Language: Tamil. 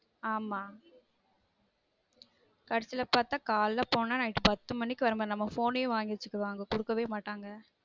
ஆமா கடைசில பார்த்தா காலைல போனா night பத்து மணிக்கு வர மாதிரி நம்ம phone யும் வாங்கி வச்சுக்குவாங்க குடுக்கவே மாட்டங்க